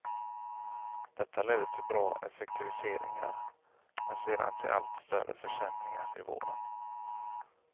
Detta ledde till bra effektiviseringar, men sedan till allt större försämringar i vården.